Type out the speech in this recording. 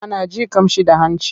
Ana jin ƙamshi da hanci.